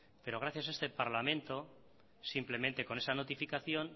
pero gracias a este parlamento simplemente con esa notificación